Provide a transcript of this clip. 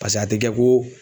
pase a te kɛ ko